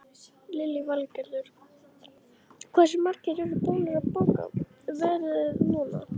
Lillý Valgerður: Hversu margir eru búnir að bóka ferðir núna?